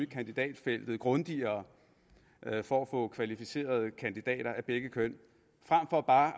kandidatfeltet grundigere for at få kvalificerede kandidater af begge køn frem for bare